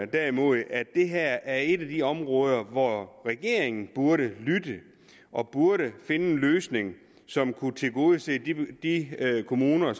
derimod at det her er et af de områder hvor regeringen burde lytte og burde finde en løsning som kunne tilgodese de kommuner